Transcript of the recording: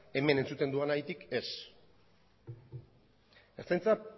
hemen entzuten dudanagatik ez ertzaintza